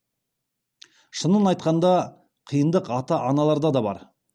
шынын айтқанда қиындық ата аналарда да бар